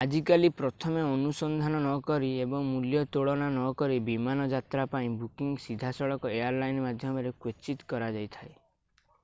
ଆଜିକାଲି ପ୍ରଥମେ ଅନୁସନ୍ଧାନ ନକରି ଏବଂ ମୂଲ୍ୟ ତୁଳନା ନକରି ବିମାନ ଯାତ୍ରା ପାଇଁ ବୁକିଂ ସିଧାସଳଖ ଏୟାର ଲାଇନ ମାଧ୍ୟମରେ କ୍ୱଚିତ କରାଯାଇଥାଏ